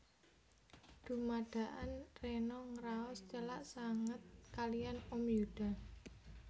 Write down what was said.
Dumadakan Rena ngraos celak sanget kaliyan Om Yuda